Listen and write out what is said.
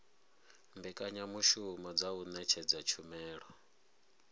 mbekanyamushumo dza u ṅetshedza tshumelo